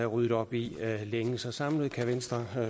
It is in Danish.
ryddet op i længe så samlet kan venstre